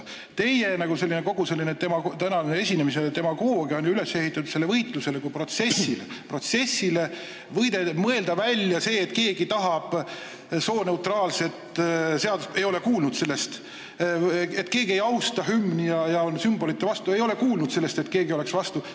Kogu teie tänase esinemise demagoogia on ju üles ehitatud võitlusele kui protsessile, et mõelda välja, nagu keegi tahaks sooneutraalset hümni – ei ole kuulnud sellest; nagu keegi ei austaks hümni ja oleks sümbolite vastu – ei ole kuulnud sellest, et keegi oleks vastu.